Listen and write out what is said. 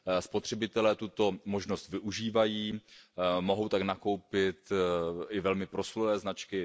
Spotřebitelé tuto možnost využívají, mohou tak nakoupit i velmi proslulé značky.